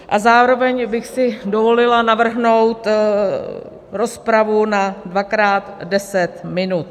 A zároveň bych si dovolila navrhnout rozpravu na dvakrát 10 minut.